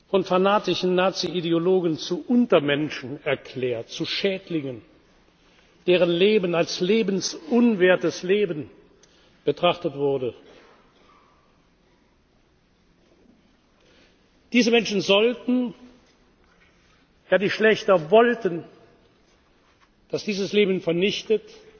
von fanatischen Naziideologen zu Untermenschen erklärt, zu Schädlingen, deren Leben als lebensunwertes Leben betrachtet wurde, diese Menschen sollten, ja, die Schlächter wollten, dass dieses Leben vernichtet